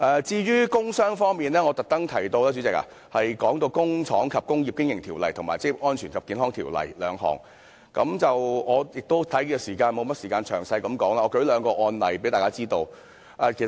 至於工傷方面，主席，我特別提及《工廠及工業經營條例》及《職業安全及健康條例》兩項條例，我也沒有時間詳細說明，但我想提出兩個案例，讓大家知道有關情況。